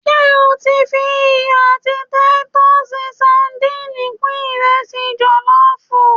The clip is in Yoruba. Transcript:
se o ti fi iyo ati Titus sadìnìnnì kun iresi jollof?